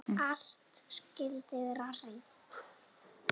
Allt skyldi hreint.